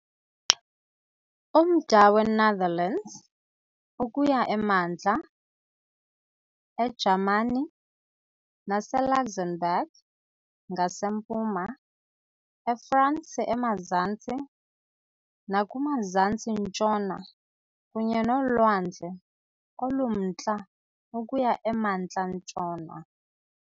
Umda weNetherlands ukuya emantla, eJamani naseLuxembourg ngasempuma, eFransi emazantsi nakumazantsi-ntshona kunye noLwandle oluMntla ukuya emantla-ntshona .